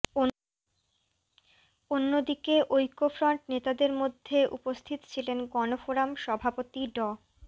অন্যদিকে ঐকফ্রন্ট নেতাদের মধ্যে উপস্থিত ছিলেন গণফোরাম সভাপতি ড